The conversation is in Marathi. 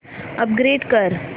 अपग्रेड कर